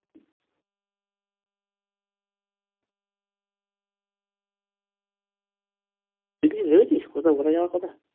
তুই কিছু ভেবেছিস কোথাও ঘোরা যাওয়ার কথা